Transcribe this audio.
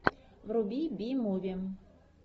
вруби би муви